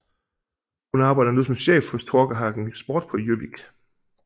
Hun arbejder nu som chef hos Torkehagen Sport på Gjøvik